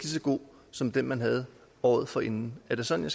så god som den man havde året forinden er det sådan